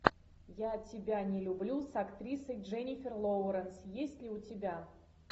я тебя не люблю с актрисой дженифер лоуренс есть ли у тебя